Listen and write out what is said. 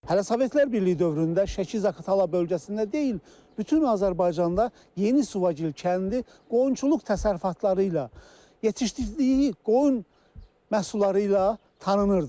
Hələ Sovetlər Birliyi dövründə Şəki-Zaqatala bölgəsində deyil, bütün Azərbaycanda yeni Suvagil kəndi qoyunçuluq təsərrüfatları ilə yetişdirdiyi qoyun məhsulları ilə tanınırdı.